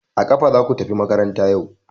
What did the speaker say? A kafa zaku tafi makaranta yau!